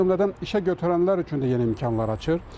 O cümlədən işə götürənlər üçün də yeni imkanlar açır.